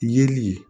Yeli